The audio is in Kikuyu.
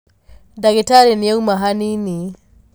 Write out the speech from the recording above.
Dagĩtarĩnĩauma hanini.